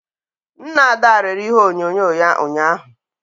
Nna Ada rere ihe onyonyo ya ụnyahụ